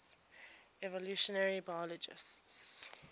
evolutionary biologists